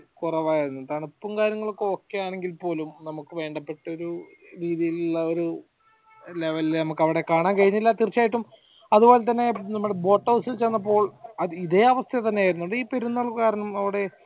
വളരെ കുറവായിരുന്നു തണുപ്പും കാര്യങ്ങളൊക്കെ ok ആണെങ്കിൽ പോലും നമുക്ക് വേണ്ടപ്പെട്ട ഒരു രീതിയിൽ ഇള്ള ഒരു level ഇൽ കാണാൻ കഴിഞ്ഞില്ല തീർച്ചയായിട്ടും അതുപോലെ തന്നെ നമ്മുടെ boat house ഇൽ ചെന്നപ്പോൾ ഇതേ അവസ്ഥ തന്നെ ആരുന്നു അതീ പെരുന്നാൾ കാരണം അവടെ